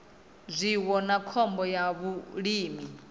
zwiwo na khombo ya vhulimi